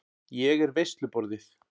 Ég er veisluborðið.